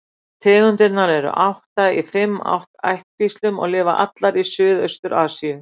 Tegundirnar eru átta í fimm ættkvíslum og lifa allar í Suðaustur-Asíu.